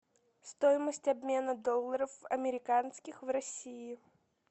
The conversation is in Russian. стоимость обмена долларов американских в россии